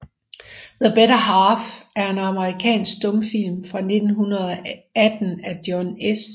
The Better Half er en amerikansk stumfilm fra 1918 af John S